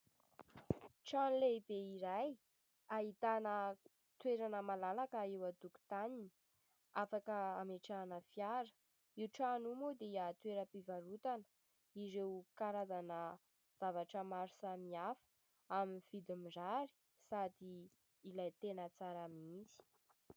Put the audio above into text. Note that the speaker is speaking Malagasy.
Trano lehibe iray, ahitana toerana malalaka eo an-tokotaniny, afaka hametrahana fiara ; io trano io moa dia toeram-pivarotana ireo karazana zavatra maro samy hafa amin'ny vidiny mirary sady ilay tena tsara mihitsy.